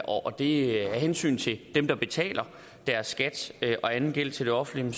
og det er af hensyn til dem der betaler deres skat og anden gæld til det offentlige